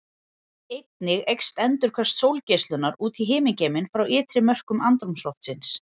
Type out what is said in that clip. Einnig eykst endurkast sólgeislunar út í himingeiminn frá ytri mörkum andrúmsloftsins.